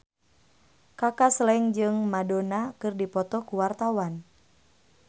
Kaka Slank jeung Madonna keur dipoto ku wartawan